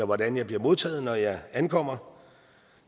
hvordan jeg bliver modtaget når jeg ankommer